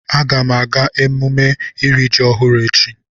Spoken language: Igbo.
Aga m aga emume iri ji ọhụrụ echi.